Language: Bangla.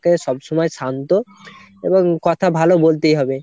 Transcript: সবসময় শান্ত এবং কথা ভালো বলতেই হবে।